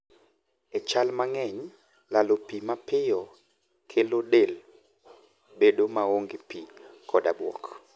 E chal mang'eny, lalo pi mapio kelo del bado maonge pi koda buok